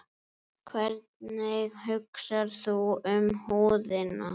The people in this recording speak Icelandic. Hvernig hugsar þú um húðina?